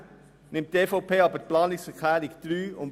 Gerne nimmt die EVP jedoch die Planungserklärungen 3 und 4 an.